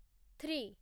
three